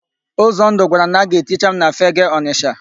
Ụzọndụ gwara m na a ga-eticha m na Fegee Ọnịsha.